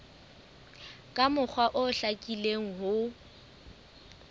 ka mokgwa o hlakileng ho